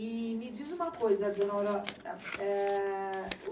E me diz uma coisa, dona Aurora. eh